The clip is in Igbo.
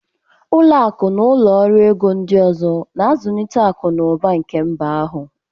Ụlọ akụ na ụlọ ọrụ ego ndị ọzọ na-azụlite akụ na ụba nke mba ahụ